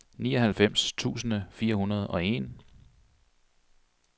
nioghalvfems tusind fire hundrede og en